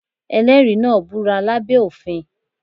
Ẹlẹ́rìí náà búra lá bẹ́ òfin.